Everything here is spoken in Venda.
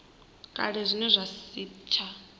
kale zwine zwa si tsha